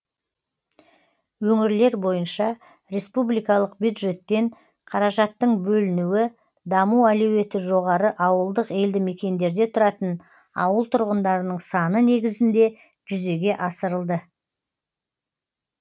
өңірлер бойынша республикалық бюджеттен қаражаттың бөлінуі даму әлеуеті жоғары ауылдық елді мекендерде тұратын ауыл тұрғындарының саны негізінде жүзеге асырылды